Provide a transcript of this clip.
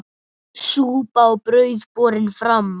Súpa og brauð borin fram.